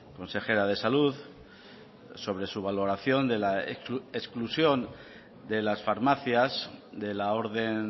consejera de salud sobre su valoración de la exclusión de las farmacias de la orden